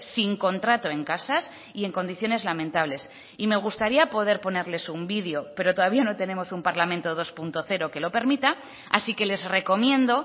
sin contrato en casas y en condiciones lamentables y me gustaría poder ponerles un video pero todavía no tenemos un parlamento dos punto cero que lo permita así que les recomiendo